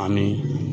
Ani